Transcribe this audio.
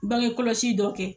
Bange kɔlɔsi dɔ kɛ